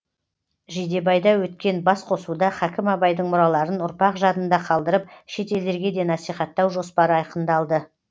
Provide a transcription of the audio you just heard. жидебайда өткен басқосуда хакім абайдың мұраларын ұрпақ жадында қалдырып шет елдерге де насихаттау жоспары айқындалды